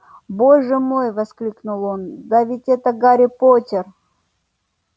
боже мой воскликнул он да ведь это гарри поттер